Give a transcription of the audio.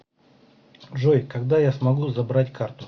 джой когда я смогу забрать карту